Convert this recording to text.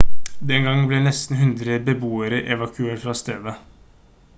den gangen ble nesten 100 beboere evakuert fra stedet